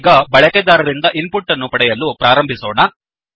ಈಗ ಬಳಕೆದಾರರಿಂದ input ಅನ್ನು ಪಡೆಯಲು ಪ್ರಾರಂಭಿಸೋಣ